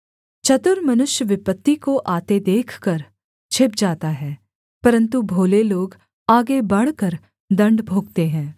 चतुर मनुष्य विपत्ति को आते देखकर छिप जाता है परन्तु भोले लोग आगे बढ़कर दण्ड भोगते हैं